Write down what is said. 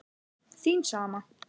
Þín sama